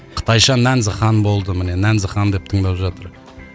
қытайша нәнзі хан болды міне нәнзі хан деп тыңдап жатыр